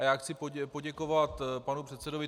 A já chci poděkovat panu předsedovi